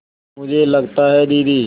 मुझे लगता है दीदी